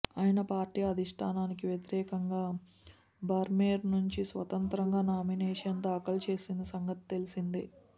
ఆయన పార్టీ అధిష్ఠానానికి వ్యతిరేకంగా బర్మేర్ నుంచి స్వతంత్రంగా నామినేషన్ దాఖలు చేసిన సంగతి తెలిసిందే